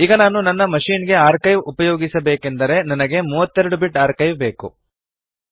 ಈಗ ನಾನು ನನ್ನ ಮಶಿನ್ ಗೆ ಆರ್ಕೈವ್ ಉಪಯೋಗಿಸಬೇಕೆಂದರೆ ನನಗೆ 32 ಬಿಟ್ ಆರ್ಕೈವ್ ಬೇಕು